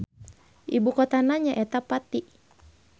Ibukotana nyaeta Pati.